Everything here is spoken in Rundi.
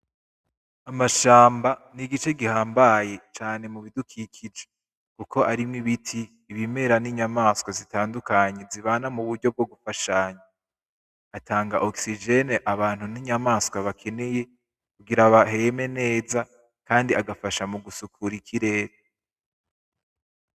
Amashamba nigice gihambaye cane mubidukikije kuko arimwo ibiti ibimera ninyamanswa zitandukanye zibana muburyo bwo gufashanya. Atanga oxygen abantu ninyamanswa bakeneye kugira baheme neza kandi agafasha mugusukura ikirere.